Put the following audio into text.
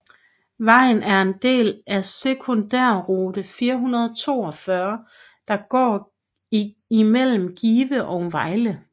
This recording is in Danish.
Vejen er en del af sekundærrute 442 der går imellem Give og Vejle